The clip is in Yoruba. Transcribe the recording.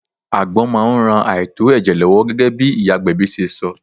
Àgbon máa ń ran àìtó ẹ̀jẹ̀ lọ́wọ́ gẹ́gẹ́ bí iyagbebi ṣe sọ.